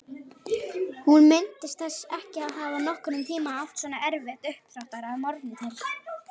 Hún minntist þess ekki að hafa nokkurn tímann átt svona erfitt uppdráttar að morgni til.